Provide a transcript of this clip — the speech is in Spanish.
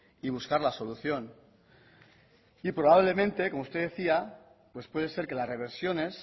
y buscar la solución y probablemente como usted decía pues puede ser que las reversiones